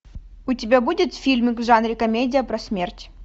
у тебя будет фильмик в жанре комедия про смерть